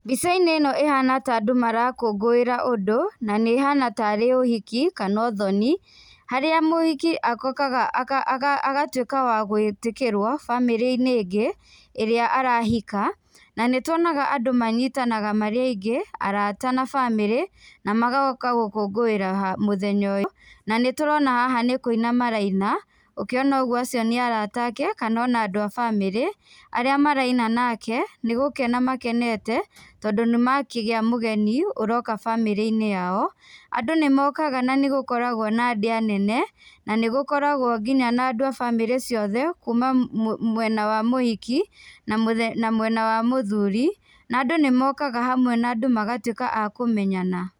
Mbica-inĩ ĩno ĩhana ta andũ marakũngũĩra ũndũ na nĩ ĩhana tarĩ ũhiki kana ũthoni harĩa mũhiki okaga agatuĩka wa gwĩtĩkĩrũo bamĩrĩ-inĩ ĩngĩ ĩrĩa arahika. Na nĩtuonaga andũ manyitanaga marĩ aingĩ arata na bamĩrĩ na magoka gũkũngũĩra mũthenya ũyũ na nĩ tũrona haha nĩ kũina maraina, ũkĩona ũguo acio nĩ arata ake kana ona andũ a bamĩrĩ. Arĩa maraina nake nĩ gũkena makenete tondũ nĩ makĩgĩa mũgeni ũroka bamĩrĩ-inĩ yao. Andũ nĩ mokaga na nĩgũkoragũo na ndĩa nene na nĩgũkoragũo nginya na andũ a bamĩrĩ ciothe kuuma mwena wa mũhiki na mwena wa mũthuri. Na andũ nĩmokaga hamwe na andũ magatuĩka a kũmenyana.